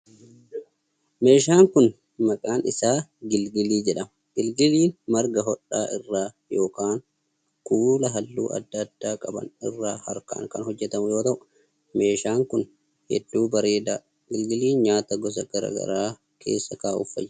Meeshaan manaa kun, maqaan isaa gingilii jedhama. Gingiliin marga hodhaa irraa yookin kuula haalluu adda addaa qaban irraa harkaan kan hojjatamu yoo ta'u, meeshaan kun hedduu bareedaa dha. Gingiliin nyaata gosa garaa gara keessa kaa'uuf fayyada.